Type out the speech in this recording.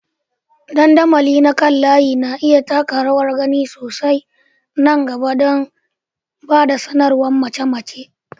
Dandamali na kan layi na iya taka rawar gani sosai a nan gaba don ba da sanarwar mace-mace.